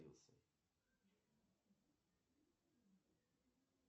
салют какие виды термосферы ты знаешь